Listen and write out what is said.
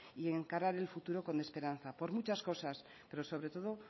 y encarar el futuro con esperanza por muchas cosas pero sobre todo